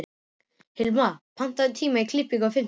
Hilma, pantaðu tíma í klippingu á fimmtudaginn.